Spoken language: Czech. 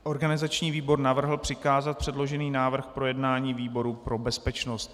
Organizační výbor navrhl přikázat předložený návrh k projednání výboru pro bezpečnost.